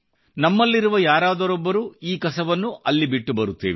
ನಮ್ಮಿಲ್ಲಿರುವ ಯಾರಾದರೊಬ್ಬರು ಈ ಕಸವನ್ನು ಅಲ್ಲಿ ಬಿಟ್ಟುಬರುತ್ತೇವೆ